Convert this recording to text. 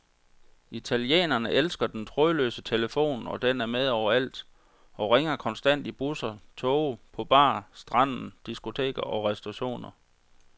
Italienerne elsker den trådløse telefon, og den er med overalt og ringer konstant i busser, toge, på bar, stranden, diskoteker og restauranter.